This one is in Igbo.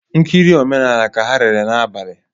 Nkiri omenala ka ha lere n'abali